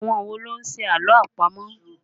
Àwọn wo ló ń ṣe àlọ́ àpamọ̀?